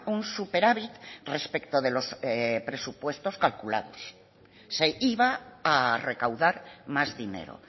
un superávit respecto de los presupuestos calculados se iba a recaudar más dinero